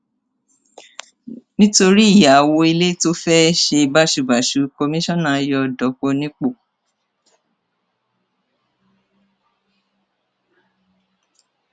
nítorí ìyàwó ilé tó fẹẹ ṣe báṣubàṣù kọmíṣánná yọ dọpọ nípò